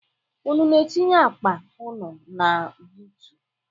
Unu na-etiny akpa unu na buutu?